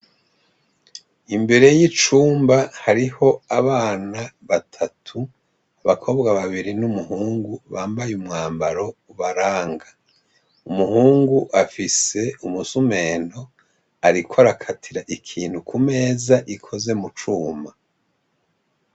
Imbere y'icumba hariho abana batatu abakobwa babiri n'umuhungu bambaye umwambaro ubaraga, umuhungu afise umusumpentu ariko arakatira ikintu kumeza ikozwe mucuma.